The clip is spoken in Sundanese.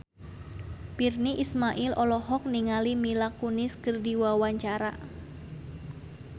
Virnie Ismail olohok ningali Mila Kunis keur diwawancara